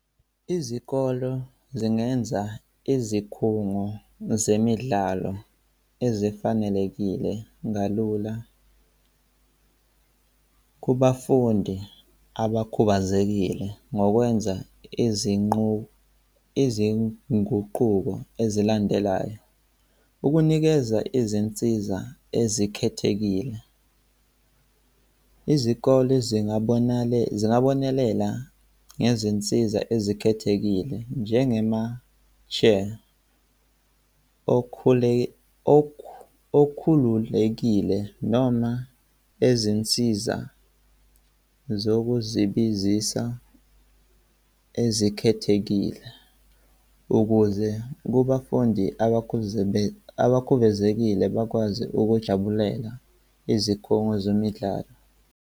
Izikolo zingenza izikhungo zemidlalo ezifanelekile kalula kubafundi abakhubazekile ngokwenza izinguquko ezilandelayo. Ukunikeza izinsiza ezikhethekile. Izikole zingabonelela ngezinsiza ezikhethekile, njengema-chair okhule okhululekile noma ezinsiza zokuzibizisa ezikhethekile ukuze kubafundi abakhubazekile bakwazi ukujabulela izikhungo zemidlalo.